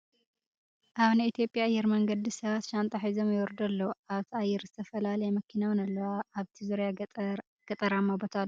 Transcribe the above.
ኣብ ናይ ኢትዮጵያ ኣየር መንገዲ ሰባት ሻንጣ ሒዞም ይወርዱ ኣለዉ ። ኣብታ ኣየር ዝተፈላለያ መኪና እውን ኣለዋ ። ኣብቲ ዙርያ ገጠራማ ቦታ ኣሎ ።